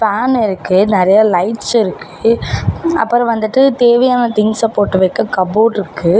Fan இருக்கு நெறையா lights இருக்கு அப்பறோ வந்துட்டு தேவையான திங்ஸ்ஸ போட்டு வெக்க கபோர்டு இருக்கு.